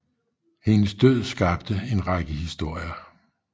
Hendes død skabte en række historier